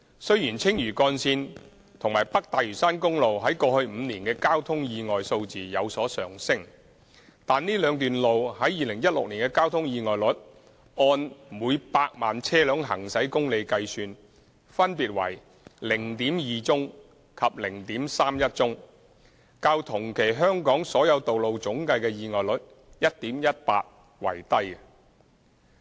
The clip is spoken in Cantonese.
雖然青嶼幹線和北大嶼山公路於過去5年的交通意外數字有所上升，但這兩段路於2016年的交通意外率按每百萬車輛行駛公里計算分別為 0.2 宗及 0.31 宗，較同期香港所有道路總計的意外率 1.18 宗為低。